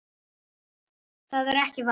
það er ekki var